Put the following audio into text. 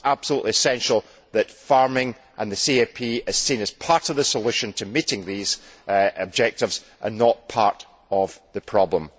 It is absolutely essential that farming and the CAP are seen as part of the solution to meeting these objectives, and not part of the problem.